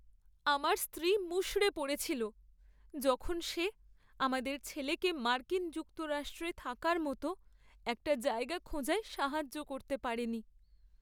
আমার স্ত্রী মুষড়ে পড়েছিল যখন সে আমাদের ছেলেকে মার্কিন যুক্তরাষ্ট্রে থাকার মতো একটা জায়গা খোঁজায় সাহায্য করতে পারেনি।